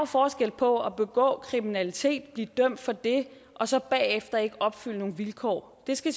forskel på at begå kriminalitet og blive dømt for det og så bagefter ikke opfylde nogle vilkår det skal